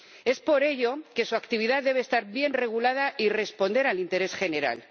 Es por ello que su actividad debe estar bien regulada y responder al interés general.